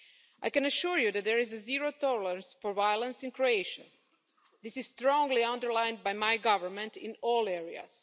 I can assure you that there is zero tolerance for violence in Croatia. This is strongly underlined by my government in all areas.